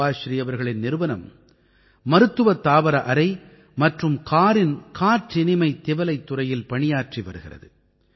சுபாஸ்ரீ அவர்களின் நிறுவனம் மருத்துவத் தாவர அறை மற்றும் காரின் காற்றினிமைத் திவலைத் துறையில் பணியாற்றி வருகிறது